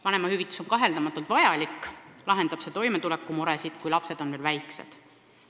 Vanemahüvitis on kaheldamatult vajalik: see lahendab toimetulekumuresid, kui lapsed on veel väiksed.